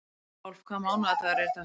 Rolf, hvaða mánaðardagur er í dag?